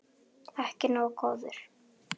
Ekki nógu góður!